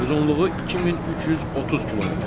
Uzunluğu 2330 kmdir.